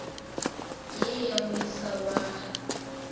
ye ya moisa wa ge